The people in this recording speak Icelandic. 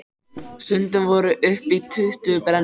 Stundum voru upp í tuttugu brennur.